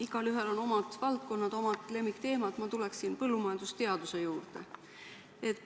Igaühel on omad valdkonnad, omad lemmikteemad, mina tuleksin põllumajandusteaduse juurde.